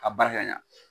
Ka barika ɲa